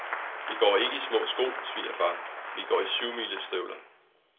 Vi går ikke i små sko, svigerfar, vi går i syvmilestøvler.